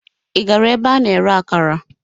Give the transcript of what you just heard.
Ị gara ebe a na-ere akara?